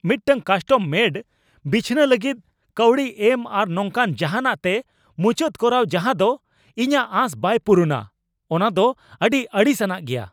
ᱢᱤᱫᱴᱟᱝ ᱠᱟᱥᱴᱚᱢᱼᱢᱮᱰ ᱵᱤᱪᱷᱱᱟᱹ ᱞᱟᱹᱜᱤᱫ ᱠᱟᱹᱣᱰᱤ ᱮᱢ ᱟᱨ ᱱᱚᱝᱠᱟᱱ ᱡᱟᱦᱟᱸᱱᱟᱜ ᱛᱮ ᱢᱩᱪᱟᱹᱫ ᱠᱚᱨᱟᱣ ᱡᱟᱦᱟ ᱫᱚ ᱤᱧᱟᱜ ᱟᱸᱥ ᱵᱟᱭ ᱯᱩᱨᱩᱱᱟ ᱚᱱᱟ ᱫᱚ ᱟᱹᱰᱤ ᱟᱹᱲᱤᱥ ᱟᱱᱟᱜ ᱜᱮᱭᱟ ᱾